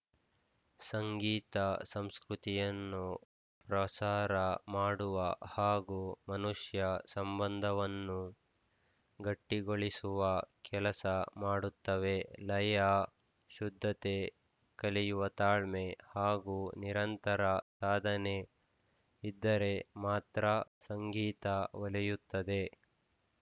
ಸಂಗೀತ ಸಂಸ್ಕೃತಿಯನ್ನು ಪ್ರಸಾರ ಮಾಡುವ ಹಾಗೂ ಮನುಷ್ಯ ಸಂಬಂಧವನ್ನು ಗಟ್ಟಿಗೊಳಿಸುವ ಕೆಲಸ ಮಾಡುತ್ತವೆ ಲಯ ಶುದ್ಧತೆ ಕಲಿಯುವ ತಾಳ್ಮೆ ಹಾಗೂ ನಿರಂತರ ಸಾಧನೆ ಇದ್ದರೆ ಮಾತ್ರ ಸಂಗೀತ ಒಲಿಯುತ್ತದೆ